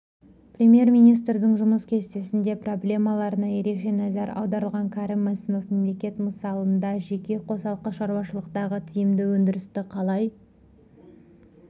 премьер-министрдің жұмыс кестесінде проблемаларына ерекше назар аударылған кәрім мәсімов мемлекет мысалындажеке қосалқы шаруашылықтағы тиімді өндірісті қалай